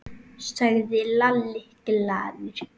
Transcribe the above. sagði Lalli glaður.